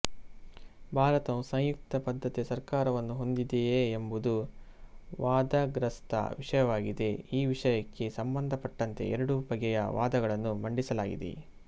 ಭಾರತವು ಸಂಯುಕ್ತ ಪದ್ಧತಿಯ ಸರಕಾರವನ್ನು ಹೊಂದಿದೆಯೆ ಎಂಬುದು ವಾದಗ್ರಸ್ಥ ವಿಷಯವಾಗಿದೆ ಈ ವಿಷಯಕ್ಕೆ ಸಂಬಂಧಪಟ್ಟಂತೆ ಎರಡು ಬಗೆಯ ವಾದಗಳನ್ನು ಮಂಡಿಸಲಾಗಿದೆ